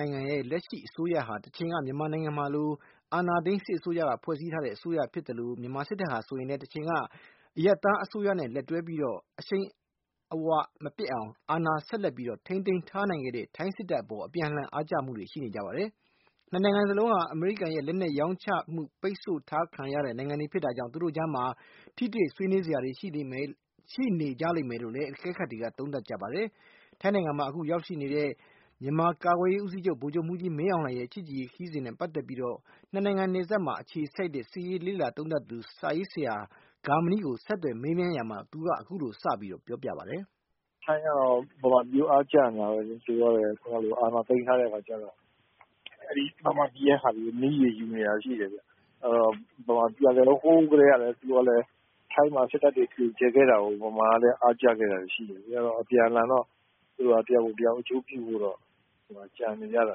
ထိုင်းနိုင်ငံရဲ့ လက်ရှိအစိုးရဟာ တချိန်က မြန်မာနိုင်ငံလို အာဏာသိမ်းစစ်အစိုးရက ဖွဲ့စည်းထားတဲ့ အစိုးရဖြစ်သလို၊ မြန်မာစစ်တပ်ဟာဆိုရင်လည်း တချိန်က အရပ်သားအစိုးရနဲ့ လက်တွဲပြီးတော့ အရှိန်အဝါမပျက်အောင် အာဏာကို ဆက်လက်ပြီးတော့ ထိန်းသိမ်းထားနိုင်ခဲ့တဲ့ ထိုင်းစစ်တပ်အပေါ် အပြန်အလှန် အားကျမှုတွေ ရှိနေကြပါတယ်။ နှစ်နိုင်ငံစလုံးဟာ အမေရိကန်ရဲ့ လက်နက်ရောင်းချမှု ပိတ်ဆို့ခံထားရတဲ့ နိုင်ငံတွေဖြစ်တာကြောင့် သူတို့ကြားမှာ ထိတွေ့ဆွေးနွေးစရာတွေ ရှိနေကြလိမ့်မယ်လို့လည်း အကဲခတ်တွေက သုံးသပ်ကြပါတယ်။ ထိုင်းနိုင်ငံမှာ အခု ရောက်ရှိနေတဲ့ မြန်မာကာကွယ်ရေးဦးစီးချုပ် ဗိုလ်ချုပ်မှူးကြီး မင်းအောင်လှိုင်ရဲ့ ချစ်ကြည်ရေးခရီးစဉ်နဲ့ ပတ်သက်ပြီးတော့ နှစ်နိုင်ငံနယ်စပ်မှာအခြေစိုက်တဲ့ စစ်ရေးလေ့လာသုံးသပ်သူ စာရေးဆရာ ဂါမဏိကို ဆက်သွယ်မေးမြန်းရာမှာ သူက အခုလို စပြီးတော့ ပြောပြပါတယ်။ “ထိုင်းကတော့ ဗမာပြည်ကို အားကျနေတာပဲလေ။ သူတို့ကလည်း အာဏာသိမ်းထားတဲ့ အခါကျတော့ အဲဒီ ဗမာပြည်ကဟာတွေကို နည်းတွေယူနေတာတွေ ရှိတယ်ဗျ။ ဗမာပြည်ကလည်း ဟိုးကတည်းက သူကလည်း ထိုင်းမှာ စစ်တပ်တွေ တွင်ကျယ်ခဲ့တာကို ဗမာကလည်း အားကျခဲ့တာတွေ ရှိတယ်လေ။ အဲတော့ အပြန်အလှန်တော့ သူတို့က တယောက်ကိုတယောက် အကျိုးပြုဖို့တော့ ကြံနေကြတာ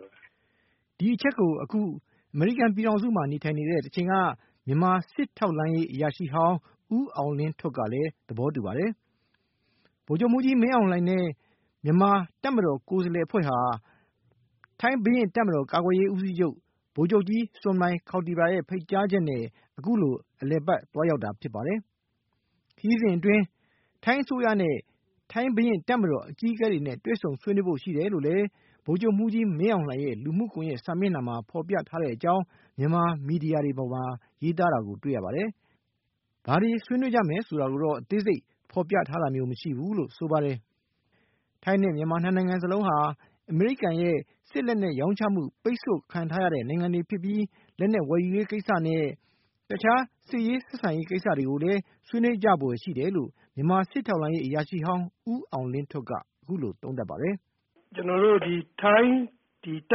ပဲ။” ဒီအချက်ကို အခု အမေရိကန်ပြည်ထောင်စုမှာ နေထိုင်နေတဲ့ တချိန်က မြန်မာစစ်ထောက်လှမ်းရေး အရာရှိဟောင်း ဦးအောင်လင်းထွဋ်ကလည်း သဘောတူပါတယ်။ ဗိုလ်ချုပ်မှူးကြီး မင်းအောင်လှိုင်နဲ့ မြန်မာတပ်မတော် ကိုယ်စားလှယ်အဖွဲ့ဟာ ထိုင်းဘုရင့်တပ်မတော် ကာကွယ်ရေးဦးစီးချုပ် ဗိုလ်ချုပ်ကြီး Sommai Kaotira ရဲ့ ဖိတ်ကြားချက်နဲ့ အခုလို အလည်အပတ် သွားရောက်တာဖြစ်ပါတယ်။ ခရီးစဉ်အတွင်း ထိုင်းအစိုးရနဲ့ ထိုင်းဘုရင့်တပ်မတော် အကြီးအကဲတွေနဲ့ တွေ့ဆုံဆွေးနွေးဖို့ ရှိတယ်လို့လည်း ဗိုလ်ချုပ်မှူးကြီး မင်းအောင်လှိုင်ရဲ့ လူမှုကွန်ယက်စာမျက်နှာမှာ ဖော်ပြထားတဲ့အကြောင်း မြန်မာမီဒီယာတွေပေါ်မှာ ရေးသားတာကို တွေ့ရပါတယ်။ ဘာတွေ ဆွေးနွေးကြမယ်ဆိုတာကိုတော့ အသေးစိတ် ဖော်ပြထားတာမျိုး မရှိဘူးလို့ ဆိုပါတယ်။ ထိုင်းနဲ့ မြန်မာ နှစ်နိုင်ငံစလုံးဟာ အမေရိကန်ရဲ့ စစ်လက်နက်ရောင်းချမှု ပိတ်ဆို့ခံထားရတဲ့ နိုင်ငံတွေဖြစ်ပြီး၊ လက်နက်ဝယ်ယူရေးကိစ္စနဲ့ တခြား စစ်ရေးဆက်ဆံရေးကိစ္စတွေကိုလည်း ဆွေးနွေးကြဖို့ရှိတယ်လို့ မြန်မာစစ်ထောက်လှမ်းရေး အရာရှိဟောင်း ဦးအောင်လင်းထွဋ်က အခုလို သုံးသပ်ပါတယ်။ “ကျနော်တို့ ဒီ ထိုင်းတပ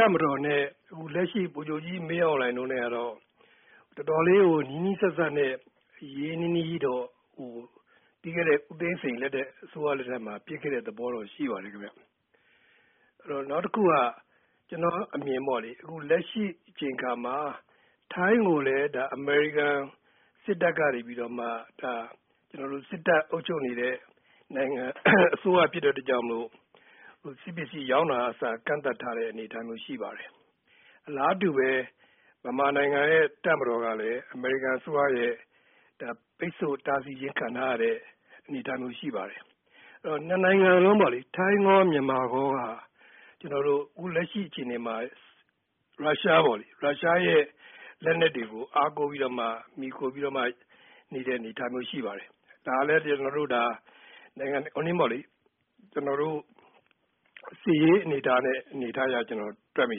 ်မတော်နဲ့ လက်ရှိ ဗိုလ်ချုပ်ကြီး မင်းအောင်လှိုင်တို့နဲ့ကတော့ တော်တော်လေးကို နီးနီးစပ်စပ်နဲ့ ရင်းရင်းနှီးနှီးတော့ ပြီးခဲ့တဲ့ ဦးသိန်းစိန်လက်ထက်မှာ ဖြစ်ခဲ့တဲ့သဘောတော့ ရှိပါတယ်။ နောက်တခုက ကျနော့်အမြင်ပေါ့လေ လက်ရှိ အချိန်အခါမှာ ထိုင်းကိုလည်း အမေရိကန်စစ်တပ်ကနေပြီးတော့မှ ဒါ စစ်တပ်အုပ်ချုပ်နေတဲ့ အစိုးရဖြစ်တဲ့အတွက်ကြောင့် စစ်ပစ္စည်းရောင်းတာကအစ ကန့်သတ်ထားတဲ့ အနေအထားမျိုး ရှိပါတယ်။ အလားတူပဲ ဗမာနိုင်ငံရဲ့ တပ်မတော်ကလည်း အမေရိကန်အစိုးရရဲ့ ပိတ်ဆို့တားဆီးခြင်း ခံထားရတဲ့ အနေအထားမျိုး ရှိပါတယ်။ အဲတော့ နှစ်နိုင်ငံစလုံးပေါ့လေ ထိုင်းရော၊ မြန်မာရောက ကျနော်တို့ အခုလက်ရှိ အခြေအနေမှာ ရုရှားရဲ့ လက်နက်တွေကို အားကိုးပြီးတော့မှ မှီခိုပြီးတော့မှ နေတဲ့ အနေအထားမျိုး ရှိပါတယ်။ ဒါကလည်း ကျနော်တို့ ဒါ စစ်ရေးအနေအထားအရ တွက်မိ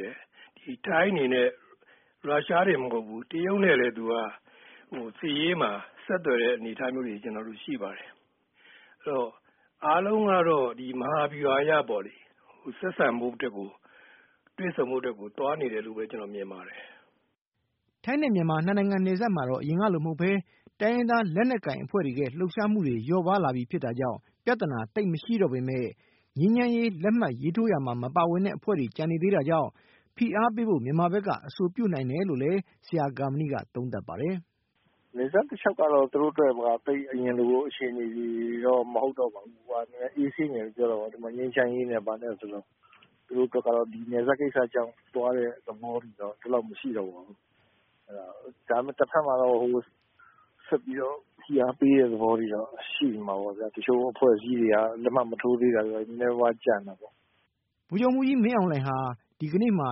တယ်။ ထိုင်းအနေနဲ့ ရုရှားတင်မဟုတ်ဘူး။ တရုတ်နဲ့လည်း သူက စစ်ရေးမှာ ဆက်သွယ်တဲ့ အနေအထားမျိုးတွေ ရှိပါတယ်။ အဲတော့ အားလုံးကတော့ မဟာဗျူဟာအရပေါ့လေ ဆက်ဆံဖို့အတွက်ကို တွေ့ဆုံဖို့အတွက်ကို သွားနေတယ်လို့ပဲ ကျနော် မြင်ပါတယ်။” ထိုင်းနဲ့ မြန်မာ နှစ်နိုင်ငံနယ်စပ်မှာတော့ အရင်ကလို မဟုတ်ဘဲ တိုင်းရင်းသားလက်နက်ကိုင် အဖွဲ့တွေရဲ့ လှုပ်ရှားမှုတွေ လျော့ပါးလာပြီဖြစ်တာကြောင့် ပြဿနာ သိပ်မရှိတော့ပေမဲ့ ငြိမ်းချမ်းရေး လက်မှတ်ရေးထိုးရာမှာ မပါဝင်တဲ့ အဖွဲ့တွေ ကျန်နေသေးတာကြောင့် ဖိအားပေးဖို့ မြန်မာဘက်က အဆိုပြုနိုင်တယ်လို့လည်း ဆရာ ဂါမဏိက သုံးသပ်ပါတယ်။ “နယ်စပ်တလျှောက်ကတော့ သူတို့အတွက်က သိပ် အရင်လို အခြေအနေတော့ မဟုတ်တော့ပါဘူး။ အေးဆေးနေပြီလို့ ပြောတာပေါ့။ ဒီမှာ ငြိမ်းချမ်းရေးနဲ့ ဘာနဲ့ဆိုတော့။ သူတို့အတွက်ကတော့ ဒီနယ်စပ်ကိစ္စကြောင့် သွားတဲ့သဘောတွေတော့ ဒီလောက် မရှိတော့ပါဘူး။ ဒါပေမဲ့ တဘက်မှာတော့ ဆက်ပြီးတော့ ဖိအားပေးတဲ့ သဘောတွေတော့ ရှိနေမှာပေါ့ဗျာ။ တချို့အဖွဲ့အစည်းတွေက လက်မှတ်မထိုးသေးတာတွေ နည်းနည်းပါးပါး ကျန်မှာပေါ့။” ဗိုလ်ချုပ်မှူးကြီး မင်းအောင်လှိုင်ဟာ ဒီကနေ့မှာ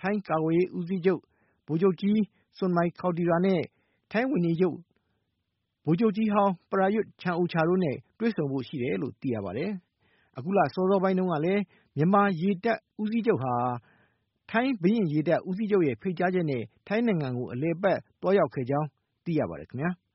ထိုင်းကာကွယ်ရေးဦးစီးချုပ် ဗိုလ်ချုပ်ကြီး Sommai Kaotira နဲ့ ထိုင်းဝန်ကြီးချုပ် ဗိုလ်ချုပ်ကြီးဟောင်း Prayut Chan-o-cha တွေ့ဆုံဖို့ရှိတယ်လို့ သိရပါတယ်။ အခုလ စောစောပိုင်းတုန်းကလည်း မြန်မာရေတပ်ဦးစီးချုပ်ဟာ ထိုင်းဘုရင့်ရေတပ် ဦးစီးချုပ်ရဲ့ ဖိတ်ကြားချက်နဲ့ ထိုင်းနိုင်ငံကို အလည်အပတ် သွားရောက်ခဲ့ကြောင်း သိရပါတယ်ခင်ဗျာ။